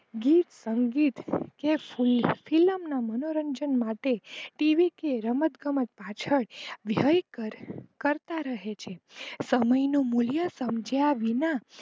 ગીત સંગીત કે film ના મનોરંજન માટે TV કે રમતગમત પાછળ કરતા રહે છે સમયનું મૂલ્ય સમજ્યા વિના